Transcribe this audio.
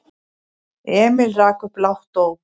Emil rak upp lágt óp.